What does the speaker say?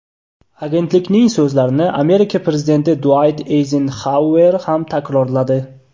Agentlikning so‘zlarini Amerika prezidenti Duayt Eyzenxauer ham takrorladi.